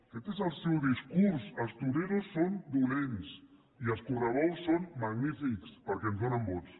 aquest és el seu discurs els toreros són dolents i els correbous són magnífics perquè ens donen vots